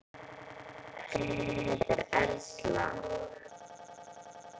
Frænka mín heitir Erla.